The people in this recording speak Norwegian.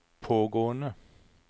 pågående